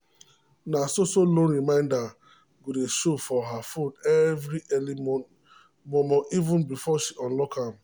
na so so loan reminder go dey show for her phone every early mormoreven before she unlock am.